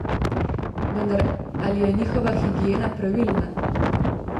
Vendar, ali je njihova higiena pravilna?